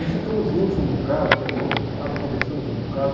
E ficamos juntos um bocado, viajamos um bocado, conversamos um bocado.